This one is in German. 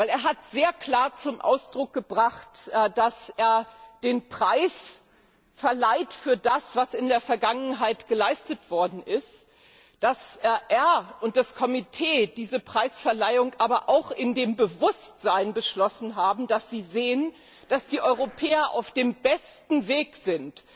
Er hat sehr klar zum Ausdruck gebracht, dass er den Preis für das verleiht, was in der Vergangenheit geleistet worden ist, und dass er und das Komitee diese Preisverleihung aber auch in dem Bewusstsein beschlossen haben, dass die Europäer auf dem besten Wege sind,